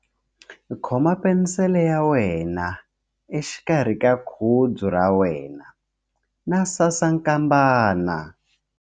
Khoma penisele ya wena exikarhi ka khudzu ra wena na sasankambana.